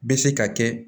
Bɛ se ka kɛ